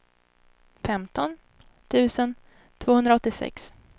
femton tusen tvåhundraåttiosex